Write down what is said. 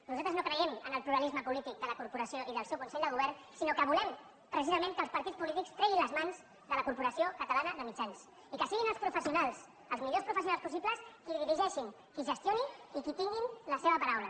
nosaltres no creiem en el pluralisme polític de la cor·poració i del seu consell de govern sinó que volem precisament que els partits polítics treguin les mans de la corporació catalana de mitjans i que siguin els professionals els millors professionals possibles qui dirigeixi qui gestioni i qui hi tingui la seva paraula